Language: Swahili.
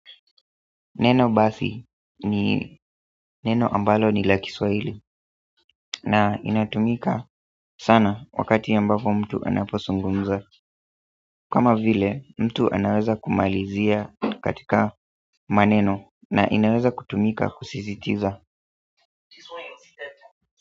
Neno basi ni neno ambalo ni la kiswahili na inatumika sana wakati ambapo mtu anapozungumza kama vile mtu anaweza kumalizia katika maneno na inaweza kutumika kusisitiza.